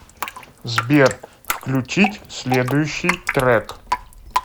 сбер включить следующий трэк